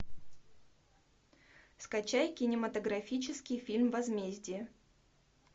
скачай кинематографический фильм возмездие